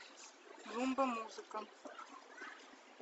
румба музыка